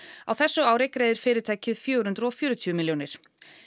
á þessu ári greiðir fyrirtækið fjögur hundruð og fjörutíu milljónir